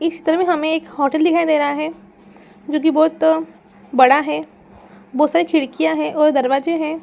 इस चित्र में हमे एक होटल दिखाई दे रहा है जो की बहुत बड़ा है बहुत सारी खिड़कियाँ है और दरवाजे है ।